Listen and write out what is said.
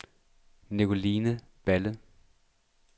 Nicoline Balle